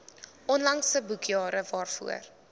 onlangse boekjare waarvoor